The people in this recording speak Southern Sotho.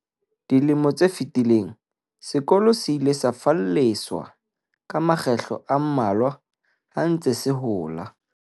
Dilemo tse fetileng, sekolo se ile sa falleswa ka makgetlo a mmalwa ha se ntse se hola.